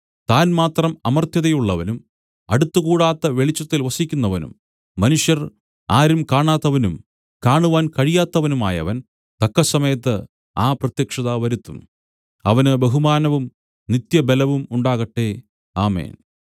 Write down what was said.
താൻ മാത്രം അമർത്യതയുള്ളവനും അടുത്തുകൂടാത്ത വെളിച്ചത്തിൽ വസിക്കുന്നവനും മനുഷ്യർ ആരും കാണാത്തവനും കാണുവാൻ കഴിയാത്തവനുമായവൻ തക്കസമയത്ത് ആ പ്രത്യക്ഷത വരുത്തും അവന് ബഹുമാനവും നിത്യബലവും ഉണ്ടാകട്ടെ ആമേൻ